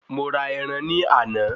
Mo ra ẹran ní àná